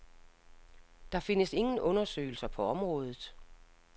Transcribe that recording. Der findes ingen undersøgelser på området.